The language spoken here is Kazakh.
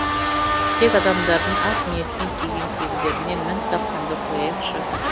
тек адамдардың ақ ниетпен киген киімдеріне мін таққанды қояйықшы